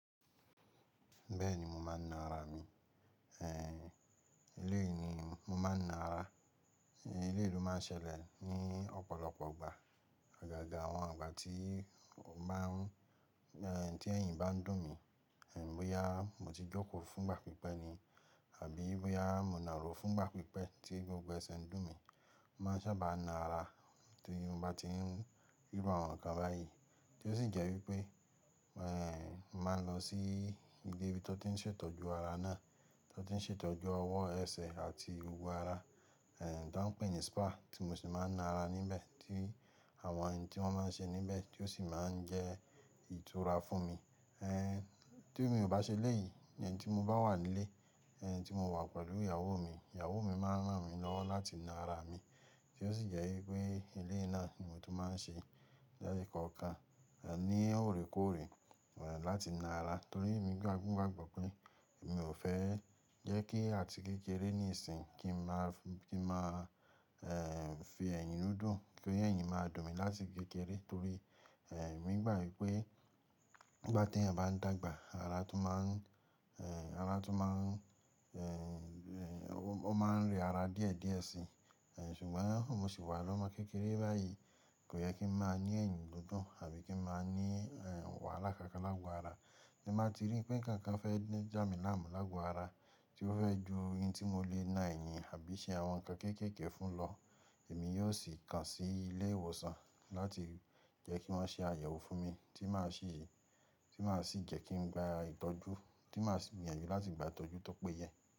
Bẹ́ẹ̀ni, mo máa ń na ara mi. Ehn, iléè ni mo máa ń na ara. Ehn, eléyìí ló máa ń ṣẹlẹ̀ ní ọ̀pọ̀lọpọ̀ ìgbà. Ọ̀gágà àwọn ìgbà tí ó máa ń, ehn tí ẹ̀yìn bá ń dùn mí, àbí bóyá mo ti jókòó fún ìgbà pípẹ́ ni, àbí bóyá mò ń nàró fún ìgbà pípẹ́ tí gbogbo ẹsẹ̀ ń dùn mí, mo máa sábà na ara tí mo bá tí ń rírú àwon ǹkan báyìí. Tí ó sì jẹ́ wípé, ehn, màá lọ sí ibi tí wọ́n sì ń ṣètọ́jú ara náà, tí wọ́n tì ń ṣètọ́jú ọwọ́ ẹsẹ̀ àti gbogbo ara, ehn tí wọ́n pè ní spa tí mo sì máa ń na ara níbẹ̀ tí àwọn ohun tí wọ́n máa ń ṣe níbẹ̀, tí ó sì máa ń jẹ́ ìtura fún mi. Ehn, tí èmi ò bá ṣe léyìí, tí mo bá wà nílé, ehn tí mo wà pẹ̀lú ìyàwó mi, ìyàwó mi máa ń rán mi lọ láti na ara mi. Tí ó sì jẹ́ wípé eléyìí náà ni mo tún máa ń ṣe lẹ́ẹ̀kọ̀ọ̀kan, ehn ní òrékòóre, ehn láti na ara. Nítorí èmi gbà níbàgbọ̀ pé èmi ò fẹ́ jẹ́ kí àti kékeré ní ìsìn kí n máa, kí n máa ehn fi ẹ̀yìn dún, kí ẹ̀yìn máa dùn mí láti kékeré. Nítorí ehn, èmi gbà wípé nigbá tí ẹ̀yàn bá ń dàgbà ara tún máa ń, ehn ara tún máa ń, ehn ó máa ń rẹ ara díẹ̀ díẹ̀ síi. Ehn ṣùgbọ́n mo ṣi wà lọ́mọ kékeré báyìí kò yẹ kí n máa ní ẹ̀yìn dídùn àbí kí n máa ní wàhálà kákan lágo ara. Tí mo bá ti rí pé nkankan fẹ́ já mi láàmú lágo ara, tí ó fẹ́ ju ohun tí mo lè ná ẹ̀yìn àbí ṣe àwọn nǹkan kéékèèké fún lọ, èmi yóò sì kan sí ilé ìwòsàn láti jẹ́ kí wọ́n ṣe àyẹ̀wò fún mi tí máa sì, tí màá sì jẹ́ kí n gba ìtọ́jú tí màá sì gbìyànjú láti gba ìtọ́jú tó péye.